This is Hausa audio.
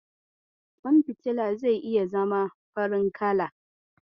Ƙwan fitila zai iya zama farin kala.